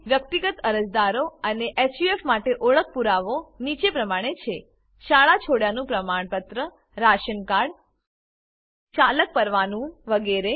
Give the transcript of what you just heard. વ્યક્તિગત અરજદારો અને હફ માટે ઓળખ પુરાવો નીચે પ્રમાણે છે શાળા છોડ્યાનું પ્રમાણપત્ર રાશન કાર્ડ ચાલક પરવાનું વગેરે